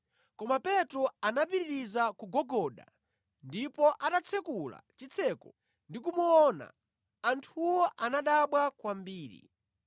Koma Petro anapitiriza kugogoda ndipo atatsekula chitseko ndi kumuona, anthuwo anadabwa kwambiri.